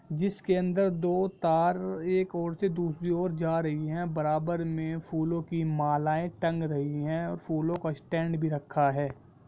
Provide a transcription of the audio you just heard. जिसके अंदर दो तार एक और से दूसरी और जा रही है बराबर में फूलो की मालाएं टंग रही है फूलो का स्टैंड भी रखा है।